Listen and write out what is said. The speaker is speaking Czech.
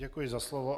Děkuji za slovo.